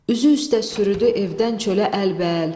Üzü üstə sürüdü evdən çölə əlbəəl.